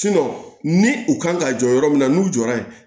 ni u kan ka jɔ yɔrɔ min na n'u jɔra yen